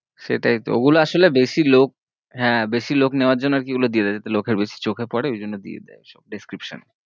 সেটাই ঐ গুলো আসোলে বেশি লোক হ্যাঁ বেশি লোক নেবার জন্য আর কি ঐ গুলো দিয়েদায়ে যাতে লোকেদের চোখে পরে ওর জন্য দিয়েদায়ে সব description